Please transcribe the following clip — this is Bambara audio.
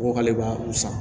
Ko k'ale b'a u san